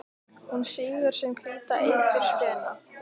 Hún sýgur sinn hvíta eitur spena.